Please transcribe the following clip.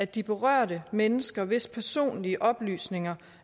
de berørte mennesker hvis personlige oplysninger